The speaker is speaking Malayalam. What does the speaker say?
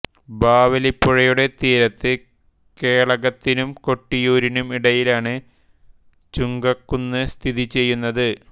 ബാവലിപ്പുഴയുടെ തീരത്ത് കേളകത്തിനും കൊട്ടിയൂരിനും ഇടയിലാണ് ചുങ്കക്കുന്ന് സ്ഥിതി ചെയ്യുന്നത്